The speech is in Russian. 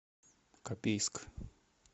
копейск